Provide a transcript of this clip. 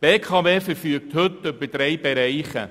Die BKW verfügt heute über drei Bereiche.